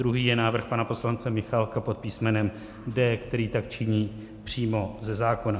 Druhý je návrh pana poslance Michálka pod písmenem D, který tak činí přímo ze zákona.